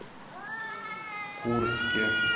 курске